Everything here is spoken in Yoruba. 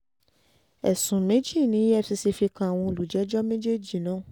ẹ̀sùn méjì ni efcc fi kan àwọn olùjẹ́jọ́ méjèèjì náà